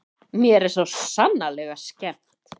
Mér er svo sannarlega skemmt.